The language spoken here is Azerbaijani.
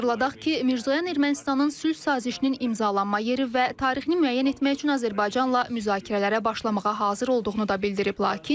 Xatırladaq ki, Mirzoyan Ermənistanın sülh sazişinin imzalanma yeri və tarixini müəyyən etmək üçün Azərbaycanla müzakirələrə başlamağa hazır olduğunu da bildirib.